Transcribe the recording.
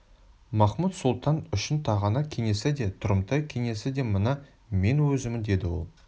махмуд-сұлтан үшін тағанақ кеңесі де тұрымтай кеңесі де мына мен өзіммін деді ол